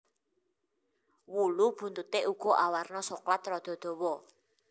Wulu buntuté uga awarna soklat rada dawa